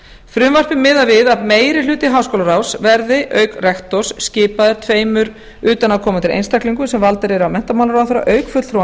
frumvarpið miðar við að meiri hluti háskólaráðs verði auk rektors skipaður tveimur utanaðkomandi einstaklingum sem valdir af menntamálaráðherra auk fulltrúa